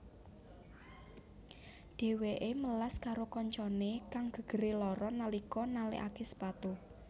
Dheweke melas karo kancane kang gegere lara nalika nalekake sepatu